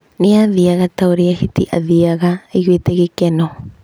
Nĩ aathiaga ta ũrĩa Hiti athiaga, eiguĩte gĩkeno.